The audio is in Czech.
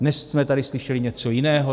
Dnes jsme tady slyšeli něco jiného.